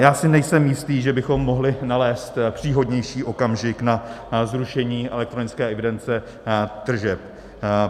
Já si nejsem jistý, že bychom mohli nalézt příhodnější okamžik na zrušení elektronické evidence tržeb.